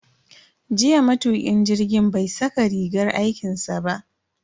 Jiya matukin jirgin bai saka rigar aikinsa ba.